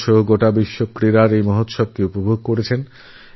ভারত তথা গোটা বিশ্ব খেলার এই উৎসবকেউপভোগ করেছে